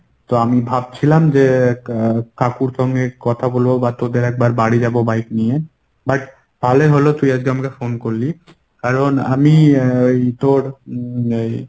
তো আমি ভাবছিলাম যে এর কাকুর সঙ্গে কথা বলব বা তোদের একবার বাড়ি যাব bike নিয়ে but ভালোই হল তুই আজকে আমাকে phone করলি কারণ আমি এর তোর এই